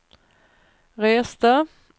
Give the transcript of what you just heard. reste